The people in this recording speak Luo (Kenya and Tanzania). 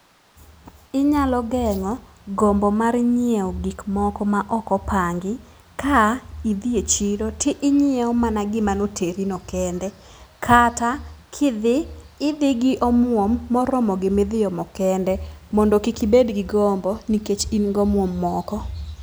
Inyalo geng'o gombo mar nyiew gik moko ma ok opangi. Ka idhie chiro tiinyiew mana gima noteri no kende. Kata kidhi idhi gi omuom moromo gimidhi omo kende mondo kik ibend gi gombo nikech in gomuom moko.